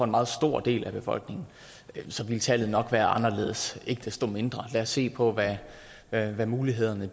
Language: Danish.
meget stor del af befolkningen så ville tallet nok være anderledes lad ikke desto mindre se på hvad hvad mulighederne